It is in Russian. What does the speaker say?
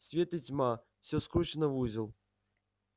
свет и тьма всё скручено в узел